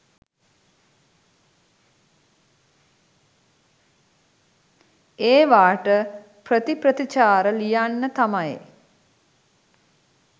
ඒවාට ප්‍රතිප්‍රතිචාර ලියන්න තමයි